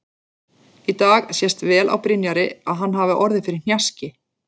Í dag sést vel á Brynjari að hann hafi orðið fyrir hnjaski.